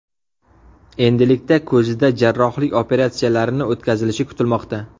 Endilikda ko‘zida jarrohlik operatsiyalarini o‘tkazilishi kutilmoqda.